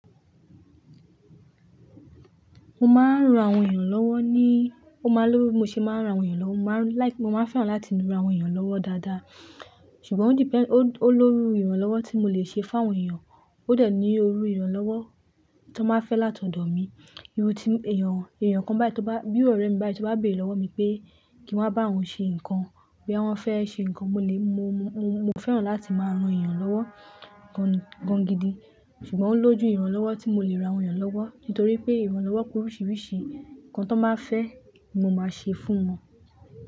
Mo máa ń ran àwọn èèyàn lọ́wọ́ ní, ó máa lòwo bi mo ṣe máa ń ran àwọn èèyàn lọ́wọ́, mo máa ń like, mo máa ń fẹ́ràn láti ran àwọn èèyàn lọ́wọ́ dáadáa. Sùgbọ́n ó depend, ó lórú ìrànlọ́wọ́ tí mo lè ṣe fun àwọn èèyàn, ó dẹ̀ ní ó rú ìrànlọ́wọ́ ta n ba fẹ́ láti ọ̀dọ̀ mi. Irú tí èèyàn, èèyàn kan báyìí tó bá, bí òòrẹ́ mi báyìí tó bá bèèrẹ́ lọ́wọ́ mi pé kí n wá bá oun ṣe nǹkan, boya wọn fẹ́ ṣe nǹkan, mo lè, mo, mo, mo fẹ́ràn láti máa ran èèyàn lọ́wọ́ gan, gan gidi. Sùgbọ́n ó lójú ìrànlọ́wọ́ tí mo lè ran àwọn èèyàn lọ́wọ́, nítorí pé ìrànlọ́wọ́ pe oríṣiríṣi, nǹkan ta n báa fẹ́ ni mo máa ṣe fún wọn.